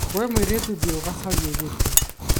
we mũirĩtu thiĩ ũgacarĩe gĩtĩ